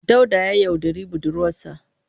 Dauda ya yaudari budurwarsa.